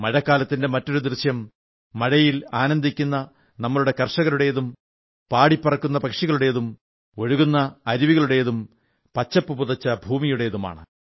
മഴക്കാലത്തിന്റെ മറ്റൊരു ദൃശ്യം മഴയിൽ ആനന്ദിക്കുന്ന നമ്മുടെ കർഷകരുടേതും പാടിപ്പറക്കുന്ന പക്ഷികളുടേതും ഒഴുകുന്ന അരുവികളുടേതും പച്ചപ്പു പുതച്ച ഭൂമിയുടേതും ആണ്